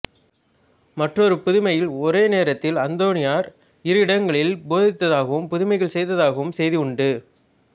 மற்றொரு புதுமையில் ஒரே நேரத்தில் அந்தோனியார் இரு இடங்களில் போதித்ததாகவும் புதுமைகள் செய்ததாகவும் செய்தி உண்டு